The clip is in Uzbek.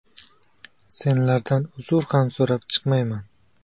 Senlardan uzr ham so‘rab chiqmayman!